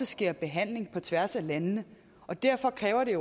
sker behandling på tværs af landene og derfor kræver det